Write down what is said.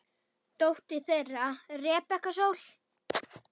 Dóttir þeirra Rebekka Sól.